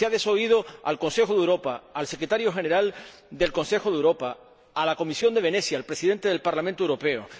Se ha desoído al Consejo de Europa, al Secretario General del Consejo de Europa, a la Comisión de Venecia y al Presidente del Parlamento Europeo.